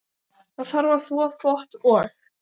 Það þarf að þvo þvott og.